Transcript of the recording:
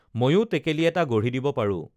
ময়ো টেকেলি এটা গঢ়ি দিব পাৰোঁ